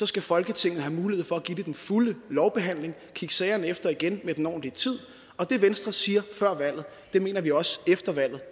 skal folketinget have en mulighed for at give det den fulde lovbehandling og kigge sagerne efter igen med den ordentlige tid og det venstre siger før valget mener vi også efter valget